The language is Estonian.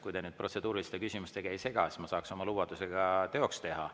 Kui te nüüd protseduuriliste küsimustega ei sega, siis ma saaks oma lubaduse ka teoks teha.